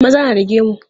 Maza na da gemu.